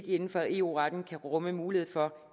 inden for eu retten kan rumme mulighed for